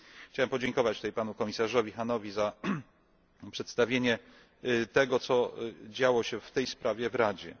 Chciałem podziękować panu komisarzowi Hahnowi za przedstawienie tego, co działo się w tej sprawie w Radzie.